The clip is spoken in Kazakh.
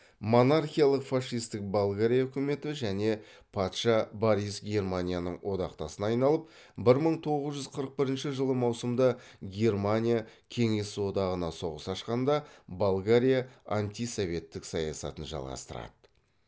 монархиялық фашистік болгария үкіметі және патша борис германияның одақтасына айналып бір мың тоғыз жүз қырық бірінші жылы маусымда германия кеңес одағына соғыс ашқанда болгария антисоветтік саясатын жалғастырды